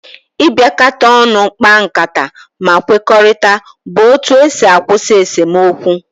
Ibiakata onu kpa nkata ma kwekorita bu otu esi akwusi esomokwu.